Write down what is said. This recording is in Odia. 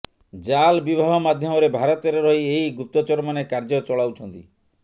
ଜାଲ୍ ବିବାହ ମାଧ୍ୟମରେ ଭାରତରେ ରହି ଏହି ଗୁପ୍ତଚରମାନେ କାର୍ଯ୍ୟ ଚଳାଉଛନ୍ତି